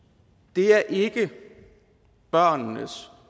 det er ikke børnenes